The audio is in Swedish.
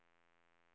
Fränsta